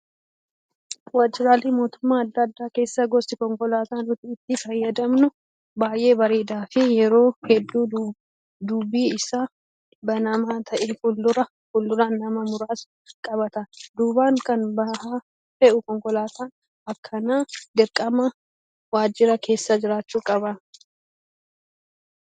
Waajjiraalee mootummaa adda addaa keessa gosti konkolaataa nuti itti fayyadamnu baay'ee bareedaa fi yeroo hedduu duubi isaa banamaa ta'ee fuulduraan nama muraasa qabata. Duubaan kan ba'aa fe'u konkolaataan akkanaa dirqama waajjira keessa jiraachuu qaba.